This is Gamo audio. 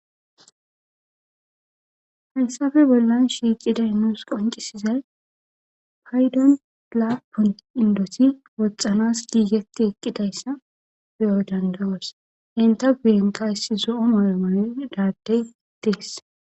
hayssappe bollan shiiqiday nuus qoncisizay paydon lapun indosi woxxanas giigeti eqqidayssa beyo dandawoos inta guyenqayssi zo7on oremandadey dees